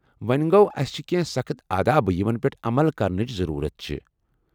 وۄنہِ گوٚو ، اسہ چھ کینٛہہ سخٕت آداب یمن پیٹھ عمل کرنٕچ ضرورت چھِ ۔